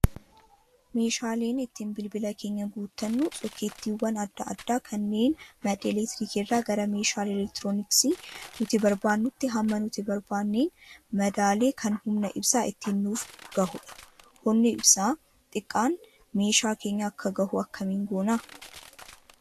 Meeshaaleen ittiin bilbila keenya guuttannu sokkeettiiwwan adda addaa kanneen madda elektiriikii irraa gara meeshaalee elektirooniksii nuti barbaannuutti hamma nuti barbaadneen madaalee kan humna ibsaa ittiin nuuf gahudha. Humni ibsaa xiqqaan meeshaa keenya akka gahu akkamiin goonaa?